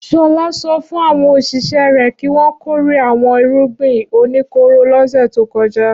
Ṣọlá sọ fún àwọn òṣìṣẹ́ rẹ̀ kí wọ́n kórè àwọn irúgbìn oníkóró lọ́sẹ̀ tó kọjá.